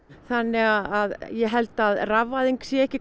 þannig að ég held kannski að rafvæðing sé ekki